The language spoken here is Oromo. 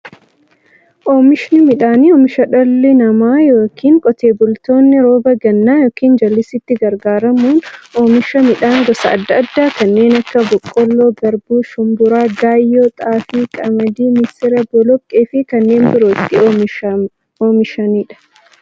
Oomishni midhaanii, oomisha dhalli namaa yookiin Qotee bultoonni roba gannaa yookiin jallisiitti gargaaramuun oomisha midhaan gosa adda addaa kanneen akka; boqqoolloo, garbuu, shumburaa, gaayyoo, xaafii, qamadii, misira, boloqqeefi kanneen biroo itti oomishamiidha.